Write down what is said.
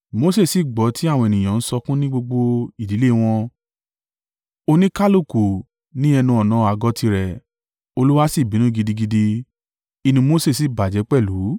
Mose sì gbọ́ tí àwọn ènìyàn ń sọkún ní gbogbo ìdílé wọn, oníkálùkù ní ẹnu-ọ̀nà àgọ́ tirẹ̀. Olúwa sì bínú gidigidi. Inú Mose sì bàjẹ́ pẹ̀lú.